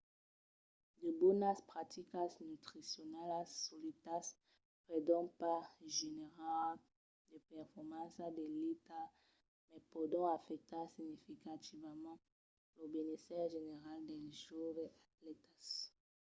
de bonas practicas nutricionalas soletas pòdon pas generar de performanças d'elita mas pòdon afectar significativament lo benésser general dels joves atlètas